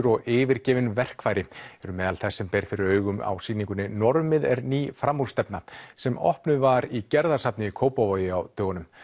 og yfirgefin verkfæri eru meðal þess sem ber fyrir augu á sýningunni normið er ný sem opnuð var í Gerðarsafni í Kópavogi á dögunum